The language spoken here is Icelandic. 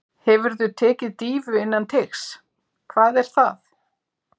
Hefurðu tekið dýfu innan teigs: Hvað er það?